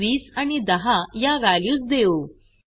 आपण 20 आणि 10 या व्हॅल्यूज देऊ